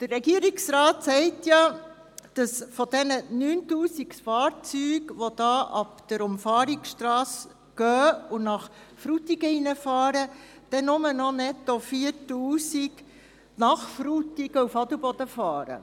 Der Regierungsrat sagt, dass von den 9000 Fahrzeugen, die von der Umfahrungsstrasse aus in das Dorf Frutigen hineinfahren, netto nur noch 4000 Fahrzeuge von Frutigen nach Adelboden fahren.